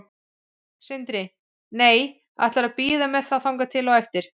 Sindri: Nei, ætlarðu að bíða með það þangað til á eftir?